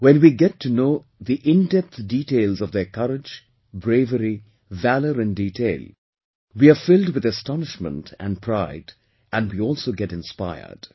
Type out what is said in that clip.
When we get to know the in depth details of their courage, bravery, valour in detail, we are filled with astonishment and pride and we also get inspired